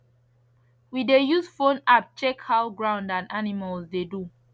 we dey use phone app check how ground and animals dey do